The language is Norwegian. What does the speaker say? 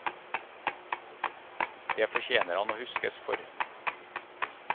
Det fortjener han å huskes for.